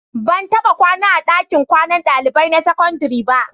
Ban taɓa kwana a ɗakin kwanan ɗalibai na sakandare ba.